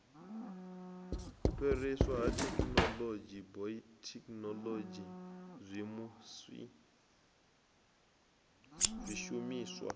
fhiriswa ha thekhinolodzhi bayothekhinolodzhi zwishumiswa